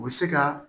U bɛ se ka